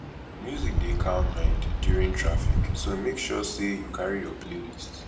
music dey calm mind during traffic so make sure say you carry your playlist